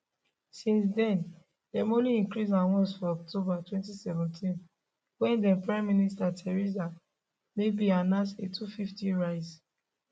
since then dem only increase am once for october 2017 wen thenprime minister theresa may bin announced a 250 rise